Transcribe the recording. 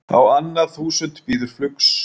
Á annað þúsund bíður flugs